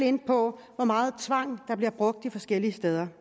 ind på hvor meget tvang der bliver brugt de forskellige steder